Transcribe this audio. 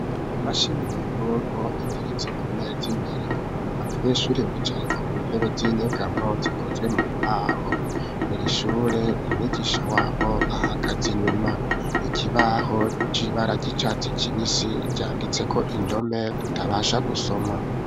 Imashini nyagunku iteretse ku mezi imbere abanyesure bicaye ku ntebe z'inyegamo zikozwe mu mbaho irishure umigisha wabo ahagaze inyuma ikibaho c'ibara ry'icatsi kibisi canditseko indome tutabasha gusoma.